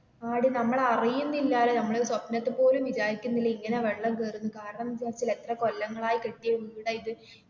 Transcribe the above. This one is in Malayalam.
ആടി നമ്മൾ അറിയുന്നില്ലലോ നമ്മൾ ഇത് സ്വപ്നത്തിൽ പോലും വിചാരിക്കുന്നില്ല ഇങ്ങനെ വെള്ളം കേറും എന്ന്, കാരണം എത്ര കൊല്ലങ്ങളായി കെട്ടിയ വീട ഇത്